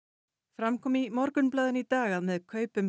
fram kom í Morgunblaðinu í dag að með kaupum